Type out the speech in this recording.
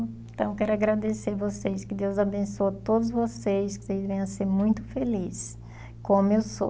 Então, eu quero agradecer vocês, que Deus abençoe todos vocês, que vocês venham a ser muito felizes, como eu sou.